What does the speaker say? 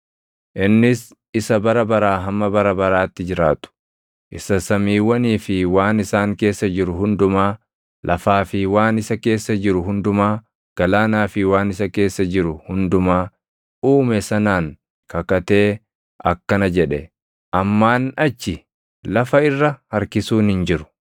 Innis isa bara baraa hamma bara baraatti jiraatu, isa samiiwwanii fi waan isaan keessa jiru hundumaa, lafaa fi waan isa keessa jiru hundumaa, galaanaa fi waan isa keessa jiru hundumaa uume sanaan kakatee akkana jedhe; “Ammaan achi lafa irra harkisuun hin jiru!